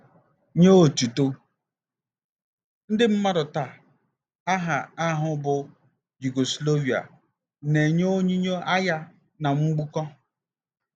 NYE ỌTỤTỤ ndị mmadụ taa, aha ahụ bụ́ Yugoslavia na-enye onyinyo agha na mgbukpọ.